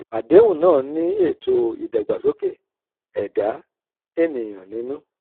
àdéhùn náà ní ètò ìdàgbàsókè ẹ̀dá ènìyàn nínú.